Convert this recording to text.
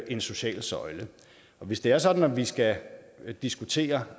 en social søjle hvis det er sådan at vi skal diskutere